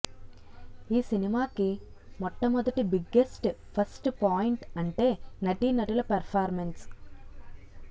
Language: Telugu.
ఈ సినిమాకి మొట్ట మొదటి బిగ్గెస్ట్ ప్లస్ పాయింట్ అంటే నటీనటుల పెర్ఫార్మన్స్